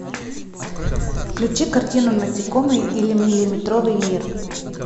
включи картину насекомые или миллиметровый мир